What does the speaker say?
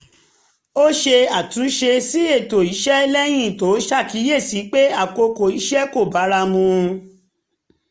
ó ṣe àtúnṣe sí ètò iṣẹ́ lẹ́yìn tó ṣàkíyèsí pé àkókò iṣẹ́ kò bára mu